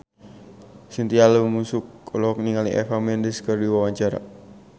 Chintya Lamusu olohok ningali Eva Mendes keur diwawancara